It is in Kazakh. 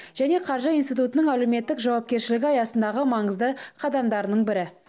және қаржы институтының әлеуметтік жауапкершілігі аясындағы маңызды қадамдарының бірі